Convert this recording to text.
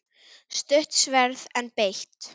Stutt sverð, en beitt.